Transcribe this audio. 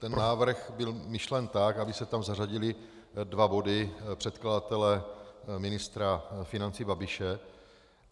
Ten návrh byl myšlen tak, aby se tam zařadily dva body předkladatele ministra financí Babiše.